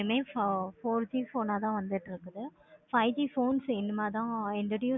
enough four G phone ஆஹ் தன வந்துட்டு இருக்குது. five G phones இனிமேல் தன introduce